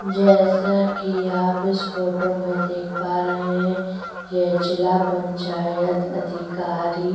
जैसा कि आप इस फोटो में देख पा रहै हैं यह जिला पंचायत अधिकारी--